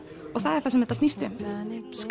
og það er það sem þetta snýst um